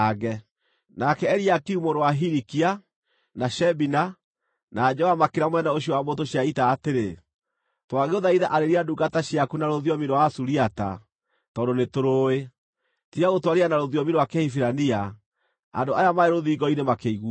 Nake Eliakimu mũrũ wa Hilikia, na Shebina, na Joa makĩĩra mũnene ũcio wa mbũtũ cia ita atĩrĩ, “Twagũthaitha arĩria ndungata ciaku na rũthiomi rwa Asuriata, tondũ nĩtũrũũĩ. Tiga gũtwarĩria na rũthiomi rwa Kĩhibirania, andũ aya marĩ rũthingo-inĩ makĩiguaga.”